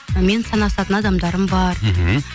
мен санасатын адамдарым бар мхм